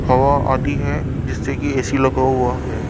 हवा आती है जिससे कि ए_सी लगा हुआ है।